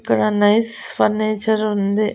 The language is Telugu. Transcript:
ఇక్కడ అన్ని ఫర్నిచర్ ఉంది.